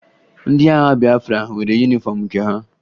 Ndị agha Bịafra nwere yunifọmụ nke ha